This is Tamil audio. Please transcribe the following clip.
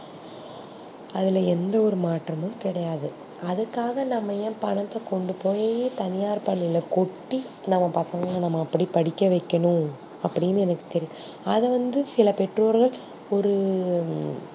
அதுல எந்த ஒரு மாற்றமும் கிடையாது அதுக்காக நம்ப ய பணத்த கொண்டு போய் தனியார் பள்ளியில கொட்டி நம்ப பசங்கள நம்ப அப்டி படிக்க வைக்கணும் அப்டின்னு அதா வந்து சில பெட்டோர்ர ஒரு